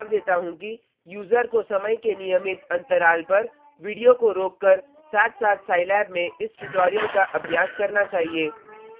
मैं यह सुझाव देता हूँ कि यूजर को समय के नियमित अंतराल पर वीडियो को रोककर साथसाथ साईलैब में इस ट्यूटोरियल का अभ्यास करना चाहिए